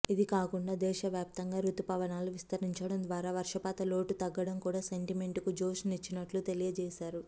ఇదికాకుండా దేశవ్యాప్తంగా రుతుపవనాలు విస్తరించడం ద్వారా వర్షపాతలోటు తగ్గడం కూడా సెంటిమెంటుకు జోష్ నిచ్చినట్లు తెలియజేసారు